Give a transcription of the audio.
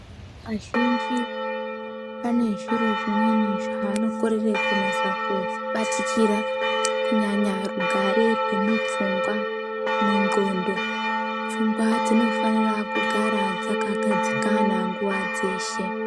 Azhinji ane zvjro zvimweni zvaanokorere kunasa kubatikira kunyanya regare rwemupfungwa, mundxondo. Pfungwa dzinofanira kugara dzakagadzikana nguva dzeshe.